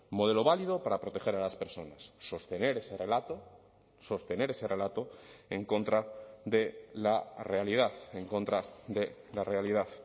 modelo válido para proteger a las personas sostener ese relato sostener ese relato en contra de la realidad en contra de la realidad